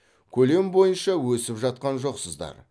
көлем бойынша өсіп жатқан жоқсыздар